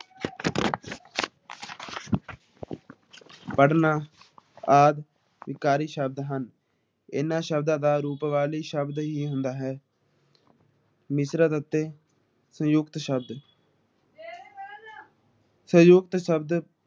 ਪੜਨ੍ਹਾ ਆਦਿ ਅਧਿਕਾਰੀ ਸ਼ਬਦ ਹਨ । ਇਹਨਾਂ ਸ਼ਬਦ ਦਾ ਰੂਪ ਹੀ ਹੁੰਦਾ ਹੈ । ਨਿਸਰ੍ਦ ਅਤੇ ਸੰਜੁਕਤ ਸ਼ਬਦ ਸੰਜੁਕਤ ਸ਼ਬਦ